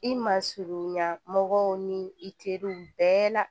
I ma surunya mɔgɔw ni i teriw bɛɛ la